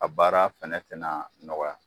A baara fɛnɛ tɛna nɔgɔya.